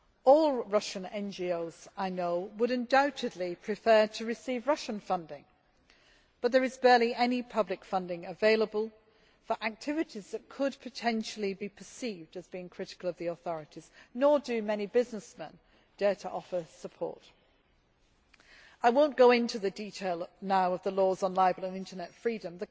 All Russian NGOs I know would undoubtedly prefer to receive Russian funding, but there is barely any public funding available for activities that could potentially be perceived as being critical of the authorities, nor do many businessmen dare to offer support. I will not go into the details now of the laws on libel and internet freedom.